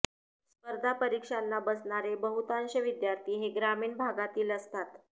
स्पर्धा परीक्षांना बसणारे बहुतांश विद्यार्थी हे ग्रामीण भागातील असतात